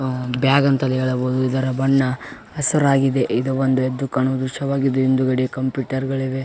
ಆಹ್ಹ್ bag ಅಂತಾನೂ ಹೇಳಬಹುದು ಇದರ ಬಣ್ಣ ಹಸುರಾಗಿದೆ ಇದು ಒಂದು ಎದ್ದು ಕಾಣುವ ದೃಶ್ಯವಾಗಿದೆ ಹಿಂದುಗಡೆ ಒಂದು ಕಂಪ್ಯೂಟರ್ .